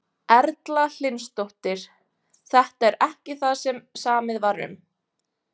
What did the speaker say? Erla Hlynsdóttir: Þetta er ekki það sem samið var um?